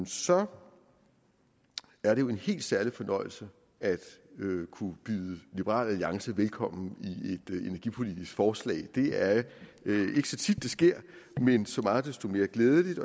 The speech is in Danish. så er det jo en helt særlig fornøjelse at kunne byde liberal alliance velkommen i energipolitisk forslag det er ikke så tit det sker men så meget desto mere glædeligt